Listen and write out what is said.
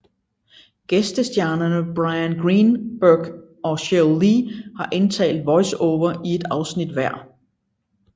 Gæstestjernerne Bryan Greenberg og Sheryl Lee har indtalt voiceover i et afsnit hver